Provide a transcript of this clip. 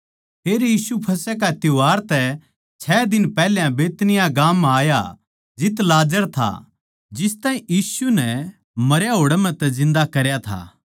फेर यीशु फसह का त्यौहार तै छ दिन पैहल्या बैतनिय्याह गाम म्ह आया जित लाजर था जिस ताहीं यीशु नै मरया होड़ म्ह तै जिन्दा करया था